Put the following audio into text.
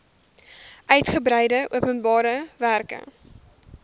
uigebreide openbare werke